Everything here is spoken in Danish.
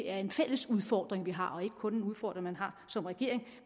er en fælles udfordring vi har og ikke kun en udfordring man har som regering